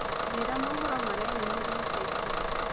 njĩĩra mohoro mareyũmiria ĩca ĩkũhĩ